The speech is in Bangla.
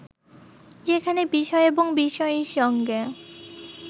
যেখানে বিষয় এবং বিষয়ীর সঙ্গে